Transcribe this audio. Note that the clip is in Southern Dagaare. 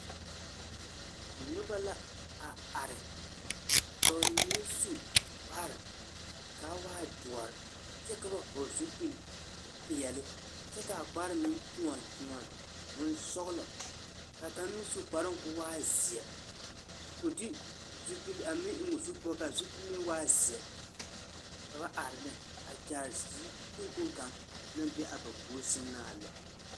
Noba la a are ka ba mine su kpar, kaa waa doɔr kyɛ ka ba hɔgle zupil-peɛle kyɛ kaa kpar meŋ kyoɔn kyoɔn bonsɔgelɔ kaa kaŋ meŋ su kparoŋ ko waa zeɛ ko de zupil eŋ o zu poɔ kaa zupil meŋ waa zeɛ, ka ba are ne a kyaare yikpoŋ kpoŋ kaŋ naŋ be a ba puori sɛŋ na a lɛ.